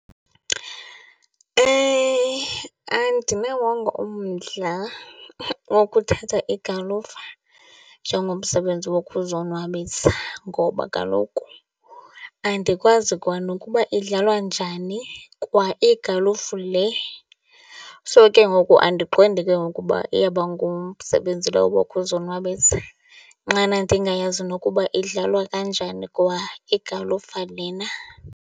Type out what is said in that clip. Andinawongo umdla wokuthatha igalufa njengomsebenzi wokuzonwabisa ngoba kaloku andikwazi kwanokuba idlalwa njani kwa igalufu le. So, ke ngoku andiqondi ke ngoku uba iyaba ngumsebenzi lo wokuzonwabisa nxana ndingayazi nokuba idlalwa kanjani kwa igalufa lena.